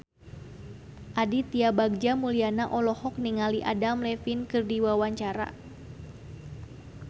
Aditya Bagja Mulyana olohok ningali Adam Levine keur diwawancara